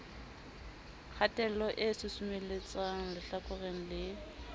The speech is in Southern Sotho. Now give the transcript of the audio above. kgatello e susumeletsang lehlakoreng le